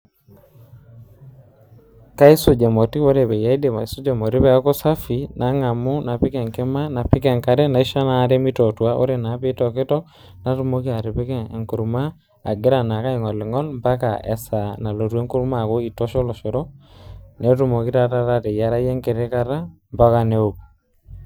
Kaisuj emoti, ore paiip aisuja emoti peaku safi ,nangamu napik enkima, napik enkare , naisho inaare mitootua . Ore naa pitoktok natumoki atipika enkurma agira naake aigoligol ampaka esaa nalotu enkurma aaku itosha olosho , netumoki naa taata ateyierayu enkiti kata ompaka neoku.